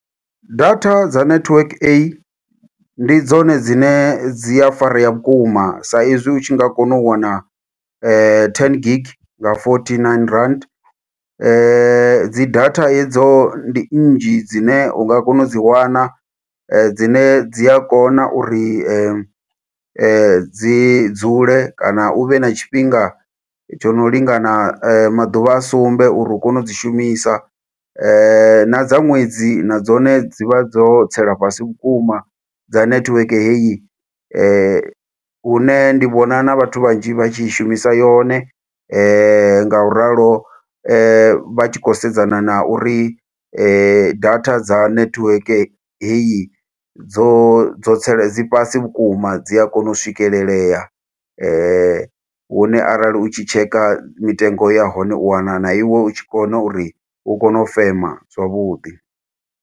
Data dza network A, ndi dzone dzine dzi a farea vhukuma sa izwi u tshi nga kona u wana ten gig nga fourty nine rand. Dzi data hedzo ndi nnzhi dzine u nga kona u dzi wana, dzine dzi a kona uri dzi dzule, kana u vhe na tshifhinga tsho no lingana maḓuvha a sumbe uri u kone u dzi shumisa. Na dza ṅwedzi na dzone dzi vha dzo tsela fhasi vhukuma dza network heyi. Hune ndi vhona na vhathu vhanzhi vha tshi shumisa yone ngauralo vha tshi khou sedzana na uri data dza netiweke heyi, dzo dzo tse dzi fhasi vhukuma dzi a kona u swikelelea . Hune arali u tshi tshekha mitengo ya hone, u wana na iwe u tshi kona uri, u kone u fema zwavhuḓi.